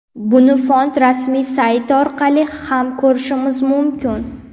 Buni fond rasmiy sayti orqali ham ko‘rishimiz mumkin.